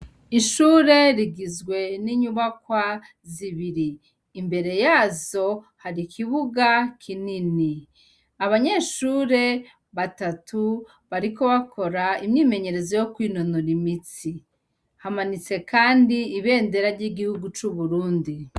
Ishure rigizwe n'inyubakwa zibiri. Imbere yazo hari ikibuga kinini. Abanyeshure batatu bariko bakora imyimenyerezo yo kwinonora imitsi. Hakaba hananitse kandi ibendera y'igihugu c'uburundi.